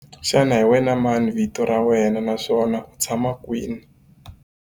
Xana hi wena mani vito ra wena naswona u tshama kwihi?